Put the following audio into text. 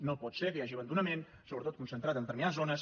no pot ser que hi hagi abandonament sobretot concentrat en determinades zones